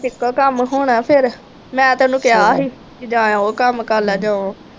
ਇੱਕੋ ਕੰੰਮ ਹੋਣਾ ਫੇਰ, ਮੈਂ ਤਾਂ ਇਹਨੂੰ ਕਿਹਾ ਸੀ ਜਾਂ ਤਾਂ ਉਹ ਕੰਮ ਕਰ ਲਾ ਜਾਂ ਉਹ